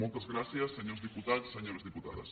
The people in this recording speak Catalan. moltes gràcies senyors diputats senyores diputades